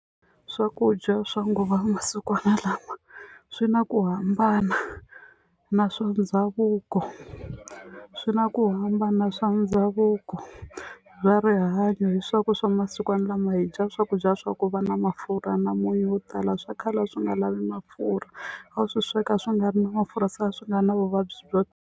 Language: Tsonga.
Swakudya swa nguva masikwana lama swi na ku hambana na swa ndhavuko swi na ku hambana swa ndhavuko bya rihanyo hi swa ku swa masikwana lama hi dya swakudya swa ku va na mafurha na munyu wo tala swa khale a swi nga lavi mafurha a wu swi sweka swi nga ri na mafurha se a swi nga na vuvabyi byo.